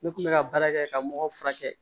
Ne kun bɛ ka baara kɛ ka mɔgɔ furakɛ